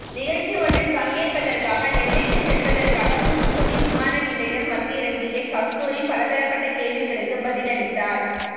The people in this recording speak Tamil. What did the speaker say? நிகழ்ச்சி ஒன்றில் பங்கேற்பதற்காக நெல்லைக்கு செல்வதற்காக தூத்துக்குடி விமான நிலையம் வந்திறங்கிய கஸ்தூரி பலதரப்பட்ட கேள்விகளுக்கு பதிலளித்தார்